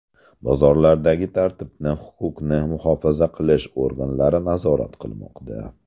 Bozorlardagi tartibni huquqni muhofaza qilish organlari nazorat qilmoqda.